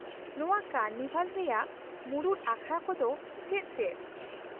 ᱱᱚᱶᱟ ᱠᱟᱨᱱᱤᱵᱷᱟᱞ ᱨᱮᱭᱟᱜ ᱢᱩᱲᱩᱫ ᱟᱠᱷᱲᱟ ᱠᱚ ᱫᱚ ᱪᱮᱫ ᱪᱮᱫ ?